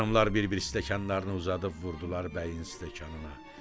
Xanımlar bir-bir stəkanlarını uzadıb vurdular bəyin stəkanına.